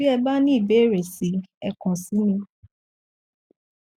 bí e bá ní ìbéèrè si ẹ kàn sí mi